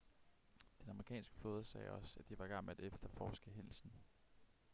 den amerikanske flåde sagde også at de var i gang med at efterforske hændelsen